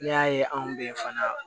N'i y'a ye anw be yen fana